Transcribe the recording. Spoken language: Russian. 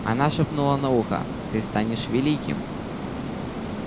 она шептнула на ухо ты станешь великим